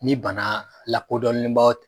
Ni banaa lakodɔnnen b'aw